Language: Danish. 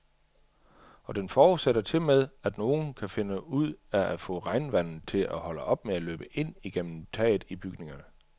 Og den forudsætter tilmed, at nogen kan finde ud af at få regnvandet til at holde op med at løbe ind igennem taget i bygningerne.